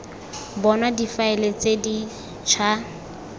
bonwa difaele tse di ša